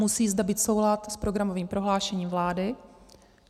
Musí zde být soulad s programovým prohlášením vlády.